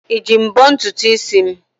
Iji mbọ ntutu isi m?